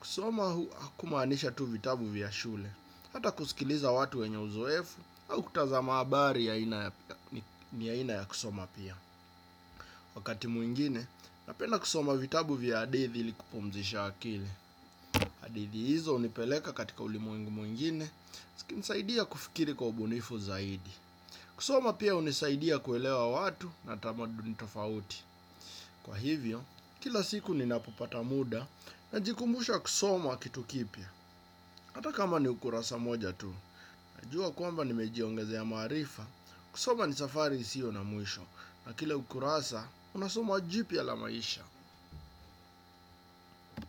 Kusoma hakumaanisha tu vitabu vya shule. Hata kusikiliza watu wenye uzoefu, au kutazama habari ni aina ya kusoma pia. Wakati mwingine, napenda kusoma vitabu vya hadithi ili kupumzisha akili. Hadithi hizo hunipeleka katika ulimwengu mwingine zikinisaidia kufikiri kwa ubunifu zaidi. Kusoma pia hunisaidia kuelewa watu na tamaduni tofauti. Kwa hivyo, kila siku ninapopata muda najikumbusha kusoma kitu kipya. Hata kama ni ukurasa mmoja tu. Najua kwamba nimejiongezea maarifa. Kusoma ni safari isiyo na mwisho. Na kila ukurasa, unasoma jipya la maisha.